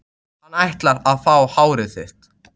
Hann ætlar að fá hárið þitt.